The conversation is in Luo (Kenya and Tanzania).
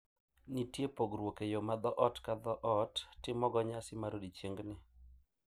Nitie pogruok e yo ma dhoot ka dhoot timogo nyasi mar odiechiengni..